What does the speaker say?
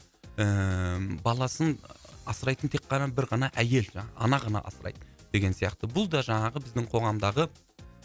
ііі баласын асырайтын тек қана бір ғана әйел жаңағы ана ғана асырайды деген сияқты бұл да жаңағы біздің қоғамдағы